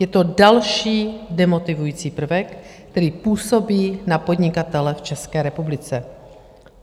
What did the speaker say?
Je to další demotivující prvek, který působí na podnikatele v České republice.